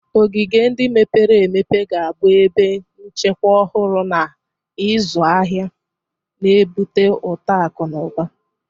Ogige ndị mepere emepe ga-abụ ebe nchekwa ọhụrụ na ịzụ ahịa, na-ebute uto akụ na ụba.